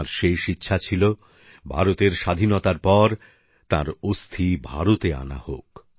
তাঁর শেষ ইচ্ছা ছিল ভারতের স্বাধীনতার পর তাঁর অস্থি ভারতে আনা হোক